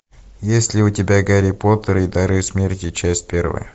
есть ли у тебя гарри поттер и дары смерти часть первая